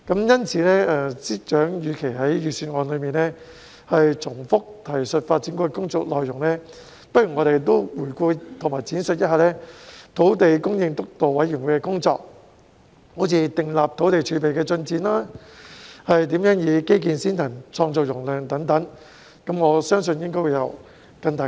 "因此，司長與其在預算案中重複提述發展局的工作內容，不如回顧和闡述土地供應督導委員會的工作，例如訂立土地儲備的進展及如何"基建先行、創造容量"等，我相信意義會更大。